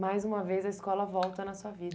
Mais uma vez a escola volta na sua vida.